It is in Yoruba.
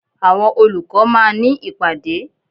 Àwọn olùkọ́ máà ní ìpàdé.